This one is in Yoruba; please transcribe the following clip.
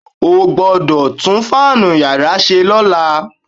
O gbọ́dọ̀ tún fáànù yàrá ṣe lọ́la.